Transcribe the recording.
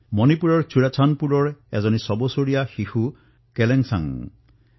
মণিপুৰৰ চুৰাচান্দপুৰৰ ছবছৰীয়া শিশু কেলেনসাং তেওঁও এইদৰে আয়ুষ্মান ভাৰতৰ পৰা নতুন জীৱন লাভ কৰিছে